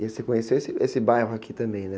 E aí você conheceu esse, esse bairro aqui também, né?